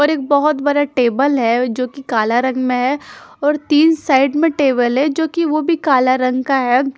और एक बहोत बड़ा टेबल है जो की काला रंग में है और तीन साइड में टेबल है जो कि वो भी काला रंग का है।